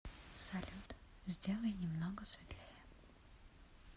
салют сделай немного светлее